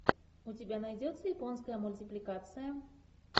у тебя найдется японская мультипликация